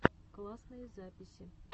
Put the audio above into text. классные записи